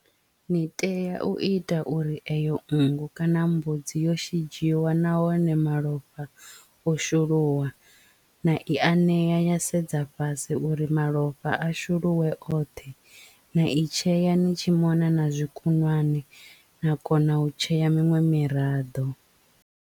Ni tea u ita uri eyo nngu kana mbudzi yo shidzhiwa nahone malofha o shuluwa na i anea ya sedza fhasi uri malofha a shuluwe oṱhe na i tshea ni tshi mona na zwikukwana na kona u tshea miṅwe miraḓo.